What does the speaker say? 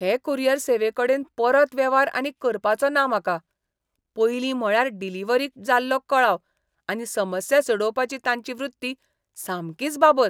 हे कुरियर सेवेकडेन परत वेव्हार आनीक करपाचो ना म्हाका. पयलीं म्हळ्यार डिलिव्हरीक जाल्लो कळाव, आनी समस्या सोडोवपाची तांची वृत्ती सामकीच बाबत.